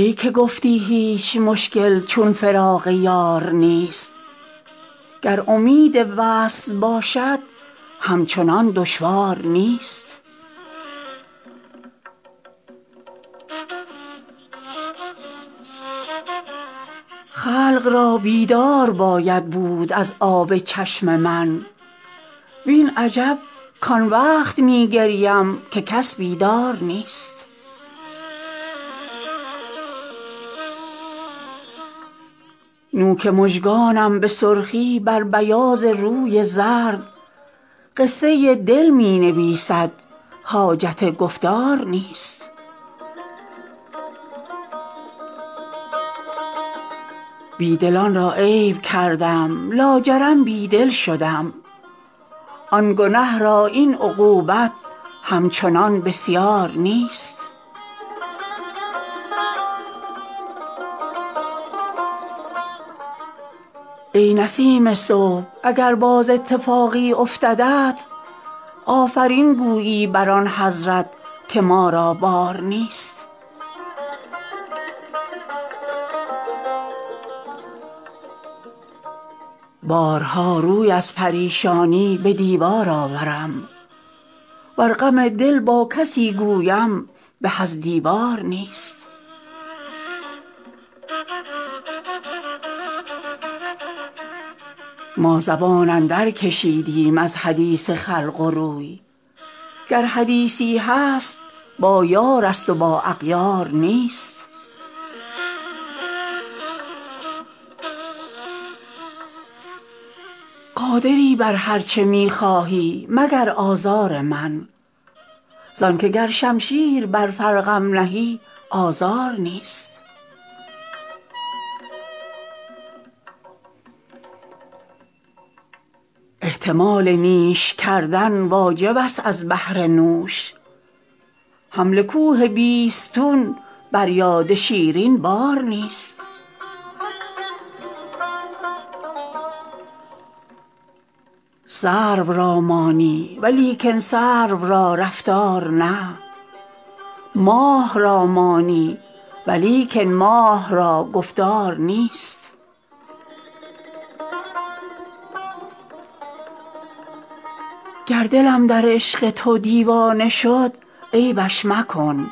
ای که گفتی هیچ مشکل چون فراق یار نیست گر امید وصل باشد همچنان دشوار نیست خلق را بیدار باید بود از آب چشم من وین عجب کان وقت می گریم که کس بیدار نیست نوک مژگانم به سرخی بر بیاض روی زرد قصه دل می نویسد حاجت گفتار نیست بی دلان را عیب کردم لاجرم بی دل شدم آن گنه را این عقوبت همچنان بسیار نیست ای نسیم صبح اگر باز اتفاقی افتدت آفرین گویی بر آن حضرت که ما را بار نیست بارها روی از پریشانی به دیوار آورم ور غم دل با کسی گویم به از دیوار نیست ما زبان اندرکشیدیم از حدیث خلق و روی گر حدیثی هست با یارست و با اغیار نیست قادری بر هر چه می خواهی مگر آزار من زان که گر شمشیر بر فرقم نهی آزار نیست احتمال نیش کردن واجبست از بهر نوش حمل کوه بیستون بر یاد شیرین بار نیست سرو را مانی ولیکن سرو را رفتار نه ماه را مانی ولیکن ماه را گفتار نیست گر دلم در عشق تو دیوانه شد عیبش مکن